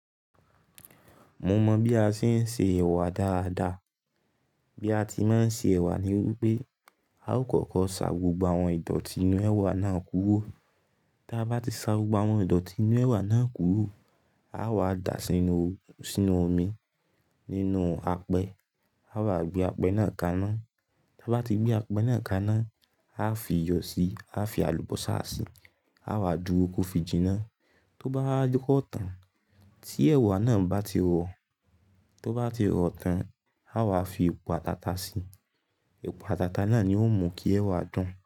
Mo mọ bí a ṣe ń se ẹ̀wà dáadáa. Bí a ti máa ń se ẹ̀wà ni wípé a ó kọ́kọ́ ṣà gbogbo àwọn ìdọ̀tí inú ẹ̀wà náà kúrò. Ti a bá ti ṣà gbogbo àwọn ìdọ̀tí inú ẹ̀wà náà kúrò, a wà dà á sínú, sínú omi nínú apẹ a wà gbé apẹ náà kaná. Tí a bá ti gbé apẹ náà kaná, a fi iyọ̀ síi, a fi àlùbọ́sà síi, a wà dúró kó fi jìnnà. Tó bá wa dipo ọ̀ tán tí ẹ̀wà náà bá ti rọ̀, tó bá ti rọ̀ tán a wà fi epo àtà atà síi. Epo àtàtà náà ni ó mú kí ẹ̀wà dùn.